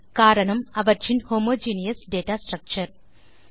காரணம் அவற்றின் homogeneous data structure